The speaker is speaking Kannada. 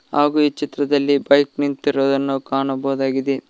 ಹಾಗೂ ಈ ಚಿತ್ರದಲ್ಲಿ ಬೈಕ್ ನಿಂತಿರುವುದನ್ನು ಕಾಣಬಹುದಾಗಿದೆ.